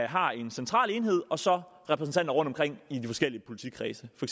har en central enhed og så repræsentanter rundtomkring i de forskellige politikredse for